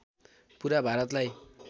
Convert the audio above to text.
पुरा भारतलाई